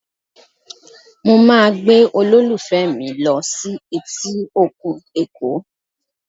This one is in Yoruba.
Mo máa gbé olólùfẹ́ mi lọ sí etí òkun Èkó